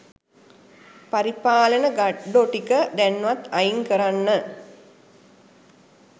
පරිපාලන ගඩ්ඩෝ ටික දැන්වත් අයින් කරන්න